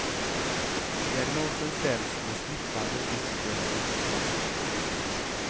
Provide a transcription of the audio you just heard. Diagnosen ställs med smittande dyster entusiasm.